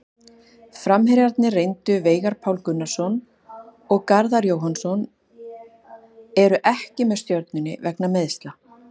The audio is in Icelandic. Framherjarnir reyndu Veigar Páll Gunnarsson og Garðar Jóhannsson eru ekki með Stjörnunni vegna meiðsla.